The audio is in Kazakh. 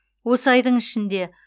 осы айдың ішінде